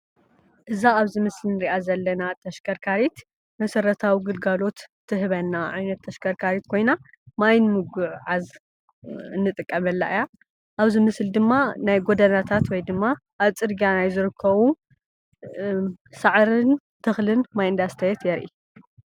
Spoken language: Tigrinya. እዛ አብ ምስሊ እንሪአ ዘለና ተሽከርካሪት መሰረታዊ ግልጋሎት ትህበና ዓይነት ተሽከርካሪት ኮይና ማይ ንሙጉዕዓዝ እንጥቀመላ እያ:: አብዚ ምስሊ ድማ ናይ ጎደናታት ወይ ድማ ናይ ፅርግያ ናይ ዝርከቡ ሳዕርን ተክልን ማይ እናስተየት የሪኢ፡፡